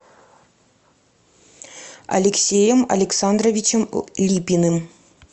алексеем александровичем липиным